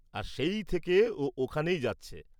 আর সেই থেকে ও ওখানেই যাচ্ছে।